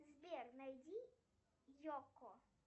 сбер найди йоко